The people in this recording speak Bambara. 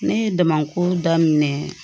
Ne ye damako daminɛ